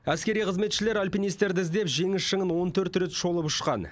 әскери қызметшілер альпинистерді іздеп жеңіс шыңын он төрт рет шолып ұшқан